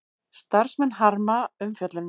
Starfsmenn harma umfjöllunina